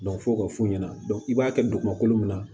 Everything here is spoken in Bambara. fo k'o f'u ɲɛna i b'a kɛ dugumakolo min na